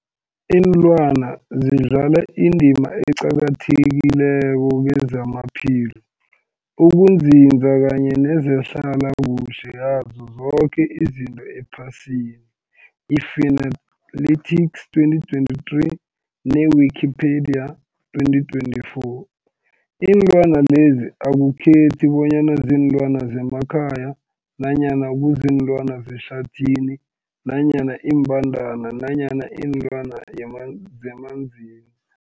Ilwana zidlala indima eqakathekileko kezamaphilo, ukunzinza kanye nezehlala kuhle yazo zoke izinto ephasini, i-Fuanalytics 2023, ne-Wikipedia 2024. Iinlwana lezi akukhethi bonyana ziinlwana zemakhaya nanyana kuziinlwana zehlathini nanyana iimbandana nanyana iinlwana yaman zemanzini.